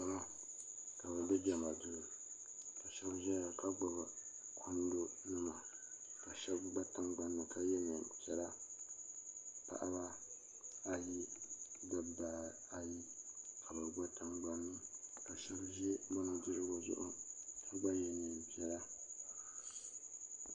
salo ka be bɛ jama do shɛbi ʒɛya ka gbabi kundonima ka shɛbi gba tiŋgbani ka yɛ nɛpiɛla paɣ' baayi ni da baayi ka be gba tiŋgbani ka shɛbi ʒɛ be nudirigu zuɣ ka gba yɛ nɛpiɛla